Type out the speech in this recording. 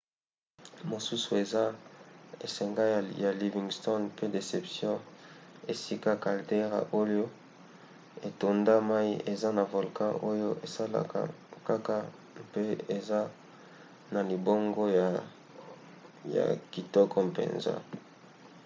mosusu eza esanga ya livingston mpe deception esika caldeira oyo etonda mai eza na volcan oyo esalaka kaka mpe eza na libongo ya kitoko mpenza